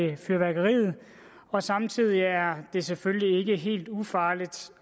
ved fyrværkeriet og samtidig er det selvfølgelig ikke helt ufarligt